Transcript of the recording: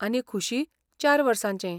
आनी खुशी चार वर्सांचे.